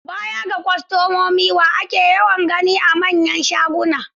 Baya ga kwastomomi, wa ake yawan gani a manyan shaguna?